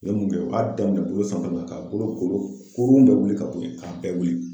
Yani u kɛ baara daminɛ bolo fɛn dɔ la ka bolo golo kolon bɛɛ wuli ka bɛɛ bɔ yen k'a bɛɛ wuli